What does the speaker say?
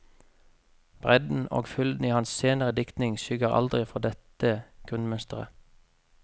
Bredden og fylden i hans senere diktning skygger aldri for dette grunnmønsteret.